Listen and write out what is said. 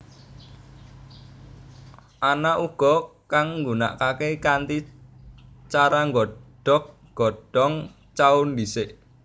Ana uga kang nggunakaké kanthi cara nggodhog godhong cao dhisik